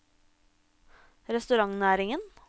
restaurantnæringen